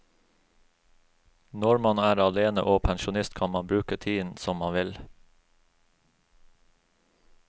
Når man er alene og pensjonist kan man bruke tiden som man vil.